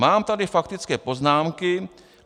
Mám tady faktické poznámky.